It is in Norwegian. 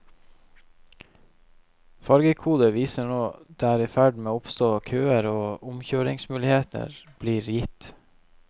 Farvekoder viser når det er i ferd med å oppstå køer, og omkjøringsmuligheter blir gitt.